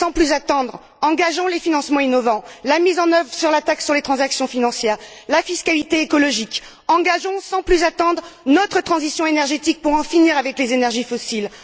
Sans plus attendre, engageons les financements innovants, la mise en œuvre de la taxe sur les transactions financières, la fiscalité écologique, engageons sans plus attendre notre transition énergétique pour en finir avec les énergies fossiles!